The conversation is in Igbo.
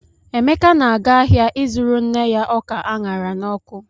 Emeka na-aga ahịa ịzụrụ nne ya ọka a ṅara n'ọkụ.